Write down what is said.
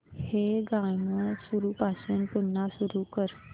हे गाणं सुरूपासून पुन्हा सुरू कर